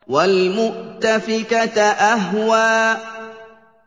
وَالْمُؤْتَفِكَةَ أَهْوَىٰ